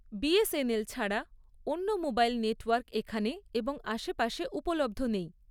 BSNL ছাড়া অন্য mobile network এখানে এবং আশেপাশে উপলব্ধ নেই৷